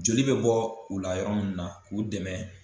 Joli bɛ bɔ u la yɔrɔ min na k'u dɛmɛ